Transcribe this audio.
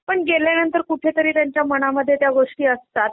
पण गेल्यानंतर कुठेतरी त्यांच्या मनामध्ये त्या गोष्टी असता .